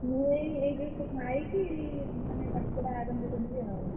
ମୁଁ ଏଇ ଏଇ just ଖାଇକି ମାନେ ପାଠପଢା ଆରମ୍ଭ କରିବି ଆଉ।